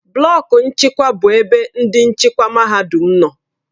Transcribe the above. Blọku nchịkwa bụ ebe ndị nchịkwa mahadum nọ.